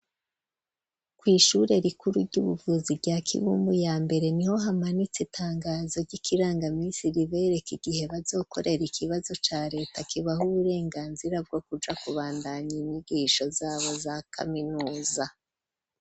kw'ishure rikuru ry'ubuvuzi rya kibumbu ya mbere niho hamanitse itangazo ry'ikirangamisi ribereka igihe bazokorera ikibazo ca leta kibaha uburenganzira bwo kuja kubandanya inyigisho zabo za kaminuza.